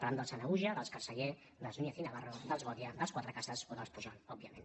parlem dels sanahuja dels carceller dels núñez i na·varro dels godia dels cuatrecasas o dels pujol òbvia·ment